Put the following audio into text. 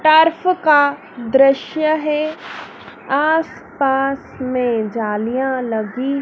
तरफ का दृश्य है आसपास में जालियां लगी--